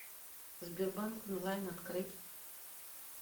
сбербанк онлайн открыть